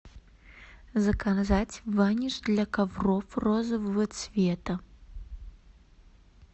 заказать ваниш для ковров розового цвета